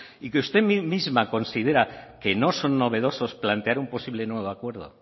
y que usted misma considera que no son novedosos plantear un posible nuevo acuerdo